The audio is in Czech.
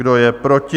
Kdo je proti?